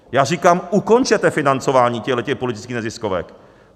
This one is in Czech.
Já říkám, ukončete financování těchto politických neziskovek.